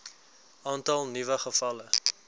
aantal nuwe gevalle